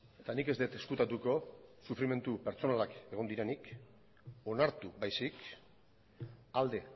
eta nik ez dut ezkutatuko sufrimendu pertsonalak egon direnik onartu baizik alde